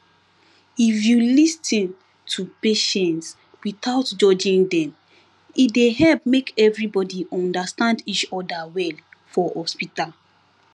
if you lis ten to patients without judging dem e dey help make everybody understand each other well for hospital